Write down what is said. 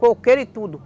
Coqueiro e tudo.